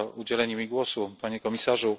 Panie Komisarzu!